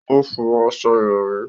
O fọ aṣọ ìrọ̀rí